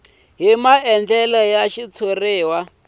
hi maandlalelo ya xitshuriwa hi